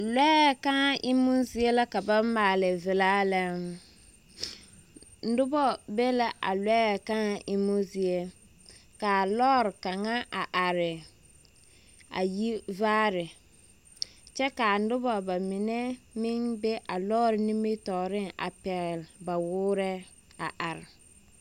Lɔɛ kãã emmo zie la ka ba maale vela lɛ, noba be la a a lɔɛ kãã emmo zie. Ka a lɔre kaŋa a are ayi vaare kyɛ ka noba bamine meŋ be lɔɔre nimitɔɔreŋ a pɛgel baa woorɛɛ are.